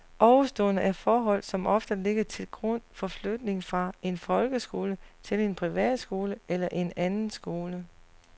Ovenstående er forhold som ofte ligger til grund for flytning fra en folkeskole til en privatskole eller en anden skole.